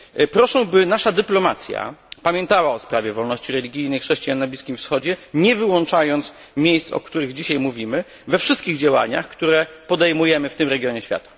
Proszę, by nasza dyplomacja pamiętała o sprawie wolności religijnej chrześcijan na Bliskim Wschodzie, nie wyłączając miejsc, o których dzisiaj mówimy, we wszystkich działaniach, które podejmujemy w tym regionie świata.